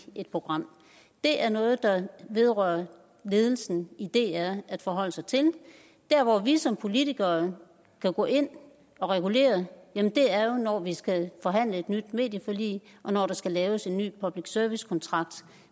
et program det er noget det vedrører ledelsen i dr at forholde sig til der hvor vi som politikere kan gå ind og regulere er jo når vi skal forhandle et nyt medieforlig og når der skal laves en ny public service kontrakt